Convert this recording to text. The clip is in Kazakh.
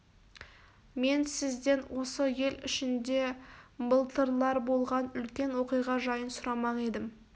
мен сізден осы ел ішінде былтырлар болған үлкен оқиға жайын сұрамақ едім